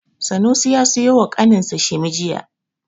Sanusi ya siyo wa ƙaninsa shimi jiya.